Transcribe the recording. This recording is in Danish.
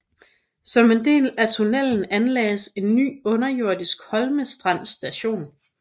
Som en del af tunnelen anlagdes en ny underjordisk Holmestrand Station